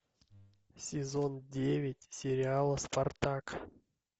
сезон девять сериала спартак